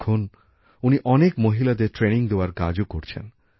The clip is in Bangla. এখন উনি অনেক মহিলাদের প্রশিক্ষণ দেওয়ার কাজও করছেন